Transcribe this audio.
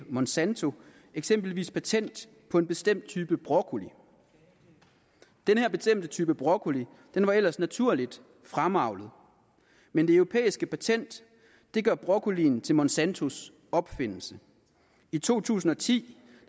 monsanto eksempelvis patent på en bestemt type broccoli den her bestemte type broccoli var ellers naturligt fremavlet men det europæiske patent gør broccolien til monsantos opfindelse i to tusind og ti